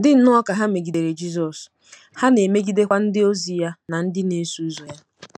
Dị nnọọ ka ha megidere Jizọs, ha na-emegidekwa ndịozi ya na ndị na-eso ụzọ ya.